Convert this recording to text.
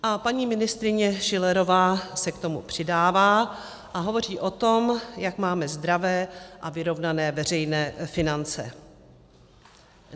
A paní ministryně Schillerová se k tomu přidává a hovoří o tom, jak máme zdravé a vyrovnané veřejné finance.